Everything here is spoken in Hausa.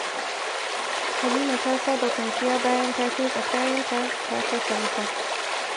Halima ta saba kwanciya bayan ta kintsa kayanta, ta kashe wuta